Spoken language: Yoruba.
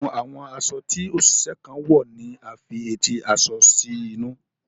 Púpọ nínú àwọn aṣọ tí oṣiṣẹ kan wọ ní a fí eti aṣọ sí inú.